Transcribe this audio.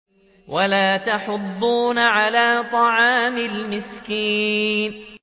وَلَا تَحَاضُّونَ عَلَىٰ طَعَامِ الْمِسْكِينِ